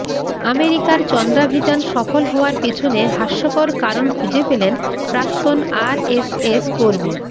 আমেরিকার চন্দ্রাভিযান সফল হওয়ার পেছনে হাস্যকর কারণ খুঁজে পেলেন প্রাক্তন আরএসএস কর্মী